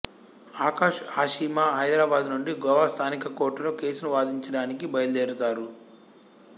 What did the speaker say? ఆకాష్ ఆషిమా హైదరాబాదు నుండి గోవా స్థానిక కోర్టులో కేసును వాదించడానికి బయలుదేరుతారు